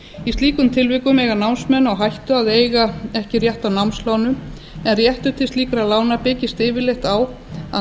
í slíkum tilvikum eiga námsmenn á hættu að eiga ekki rétt á námslánum en réttur til slíkra lána byggist yfirleitt á að